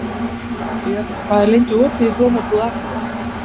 Jörri, hvað er lengi opið í Blómabúð Akureyrar?